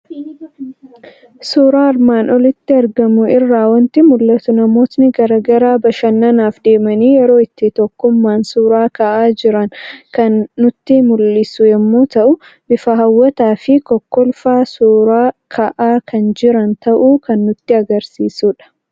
Suuraa armaan olitti argamu irraa waanti mul'atu; namootni garaagaraa bashannanaaf deemanii yeroo itti tokkummaan suuraa ka'aa jiram kan nutti mul'isu yommuu ta'u, bifa hawwatafi kokkolfaa suuraa ka'aa kan jiran ta'uu kan nutti agarsiisudha.